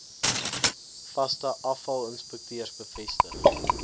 vaste afvalinspekteurs bevestig